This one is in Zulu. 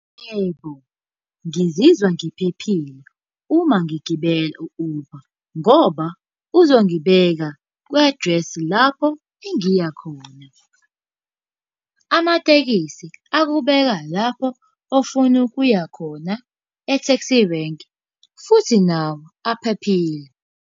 Yebo, ngizizwa ngiphephile, uma ngigibela u-Uber. Ngoba uzongibeka kwi-address lapho engiyakhona. Amatekisi akubeka lapho ofuna ukuya khona e-taxi rank, futhi nawo aphephile.